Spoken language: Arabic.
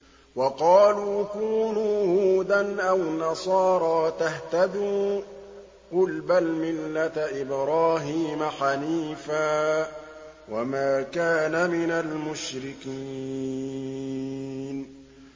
وَقَالُوا كُونُوا هُودًا أَوْ نَصَارَىٰ تَهْتَدُوا ۗ قُلْ بَلْ مِلَّةَ إِبْرَاهِيمَ حَنِيفًا ۖ وَمَا كَانَ مِنَ الْمُشْرِكِينَ